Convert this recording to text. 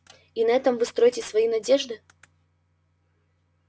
и на этом вы строите свои надежды